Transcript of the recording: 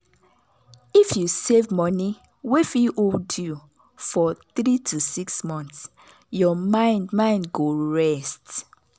if you save money wey fit hold you for 3–6 months your mind mind go rest.